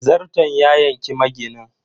Zarton ya yanki maginin.